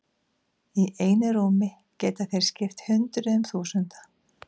Í einu rúmi geta þeir skipt hundruðum þúsunda.